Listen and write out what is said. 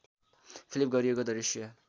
flip गरिएको दृश्य